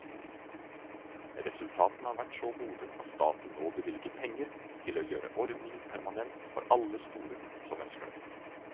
Resultatene har vært så gode at staten nå bevilger penger til å gjøre ordningen permanent for alle skoler som ønsker det.